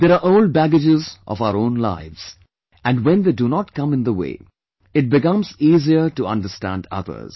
There are old baggage's of our own lives and when they do not come in the way, it becomes easier to understand others